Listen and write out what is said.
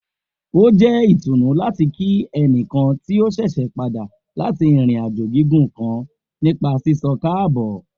O jẹ itunu lati kí ẹnikan ti o ṣẹṣẹ pada lati irin-ajo gigun kan nipa sisọ kaabo